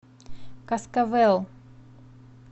каскавел